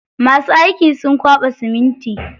Masu aiki sun kwaɓa siminti.